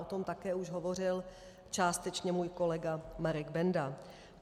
- O tom také už hovořil částečně můj kolega Marek Benda.